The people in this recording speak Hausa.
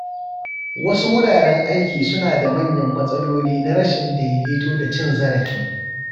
Wasu wuraren aiki suna da manyan matsaloli na rashin daidaito da cin zarafi.